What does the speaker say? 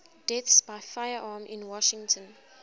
deaths by firearm in washington